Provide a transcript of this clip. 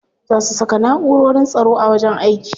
Za su saka na'urorin tsaro a wajen aiki.